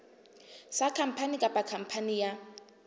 sa khampani kapa khampani ya